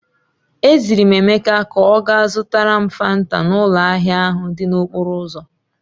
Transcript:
E ziri m Emeka ka ọ gaa zụtara m Fanta n'ụlọ ahịa ahụ dị n'okporo ụzọ.